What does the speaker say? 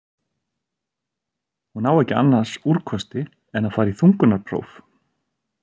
Hún á ekki annars úrkosti en að fara í þungunarpróf.